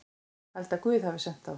Held að Guð hafi sent þá.